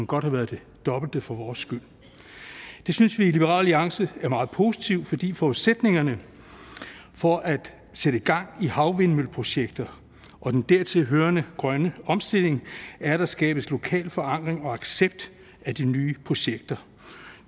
godt have været det dobbelte for vores skyld det synes vi i liberal alliance er meget positivt fordi forudsætningerne for at sætte gang i havvindmølleprojekter og den dertil hørende grønne omstilling er at der skabes lokal forankring og accept af de nye projekter